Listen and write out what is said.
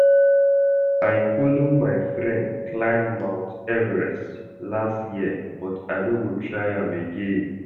I follow my friend climb mount Everest last year but I no go try am again